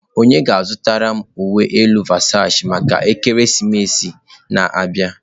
Onye ga-azụtara m uwe elu Versachi maka ekeresimesi a na-abịa?